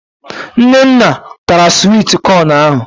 Nnenna tara swit kọn ahụ